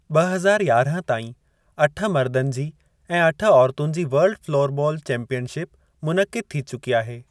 ॿ हज़ार यारहं ताईं अठ मर्दनि जी ऐं अठ औरतुनि जी वर्ल्ड फ़्लोरबॉल चैंपीयनशिप मुनक़िद थी चुकी आहे।